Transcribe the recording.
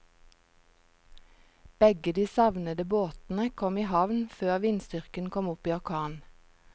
Begge de savnede båtene kom i havn før vindstyrken kom opp i orkan.